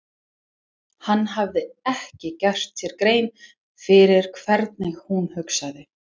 Hann hafði ekki gert sér grein fyrir hvernig hún hugsaði.